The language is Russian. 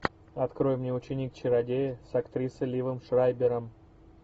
открой мне ученик чародея с актрисой ливом шрайбером